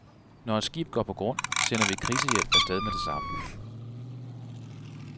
Når et skib går på grund, sender vi krisehjælp af stedmed det samme.